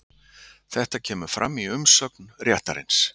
Þetta kemur fram í umsögn réttarins